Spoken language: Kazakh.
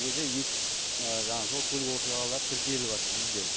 уже екі үш жаңағы жол көлік оқиғалары тіркеліватыр бізде